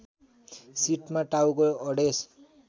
सिटमा टाउको अडेस